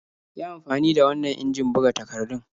Yi amfani da wannan injin buga takardun.